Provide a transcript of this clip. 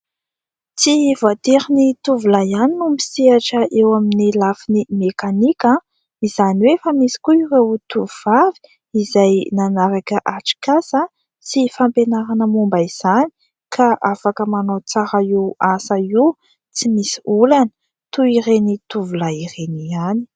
Tsy voatery ny tovolahy ihany no misehatra eo amin'ny lafiny mekanika izany hoe efa misy koa ireo tovovavy izay nanaraka atrik'asa sy fampianarana momba izany, ka afaka manao tsara io asa io, tsy misy olana, toy ireny tovolahy ireny ihany.